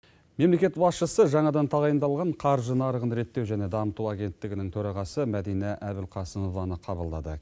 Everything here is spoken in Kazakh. мемлекет басшысы жаңадан тағайындалған қаржы нарығын реттеу және дамыту агенттігінің төрағасы мәдина әбілқасымованы қабылдады